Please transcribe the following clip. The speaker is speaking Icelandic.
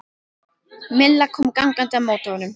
Milla kom gangandi á móti honum.